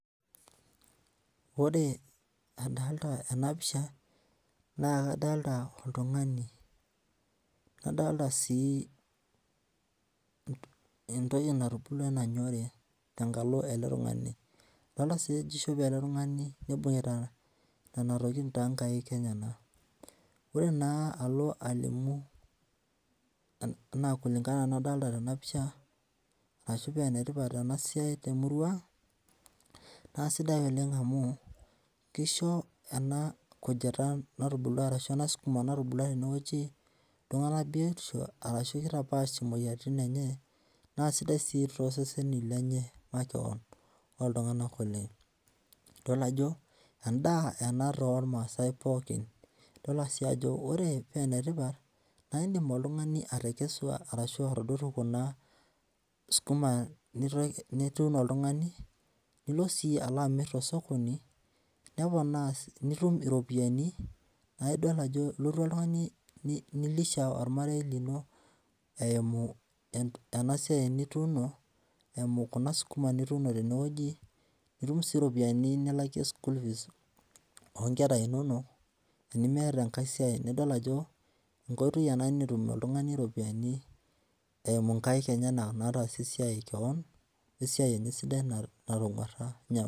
Ore adalta enapisha, na kadalta oltung'ani. Kadalta si entoki natubulua nanyori tenkalo ele tung'ani. Adolta si ajo ishope ele tung'ani nibung'ita nena tokiting tonkaik enyanak. Ore naa alo alimu enaa kulingana nadalta tenapisha, ashu penetipat enasiai temurua ang, naa sidai oleng amu kisho ena kujita natubulua arashu ena sukuma natubulua tenewueji, iltung'anak biotisho, arashu kitapaash moyiaritin enye, nasidai si toseseni lenye makeon, oltung'anak oleng. Idol ajo, endaa ena tormaasai pookin. Idolta si ajo ore penetipat, na idim oltung'ani atekesu arashu atadotu kuna skuma nituuno oltung'ani, nilo si alo amir tosokoni, neponaa nitum iropiyiani, na idol ajo ilotu oltung'ani ni lisha ormarei lino eimu enasiai nituuno, eimu kuna sukuma nituuno tenewueji, nitum si ropiyiani nilakie school fees onkera inonok, tenimiata enkae siai, nidol ajo, enkoitoi ena netum oltung'ani iropiyiani eimu nkaik enyanak nataasie esiai keon, esiai enye sidai natong'uarra.